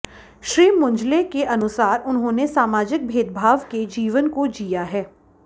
श्री मंजुले के अनुसार उन्होंने सामाजिक भेदभाव के जीवन को जीया है